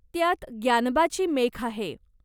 त्यात ग्यानबाची मेख आहे.